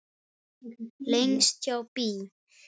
Lengst hjá BÍ.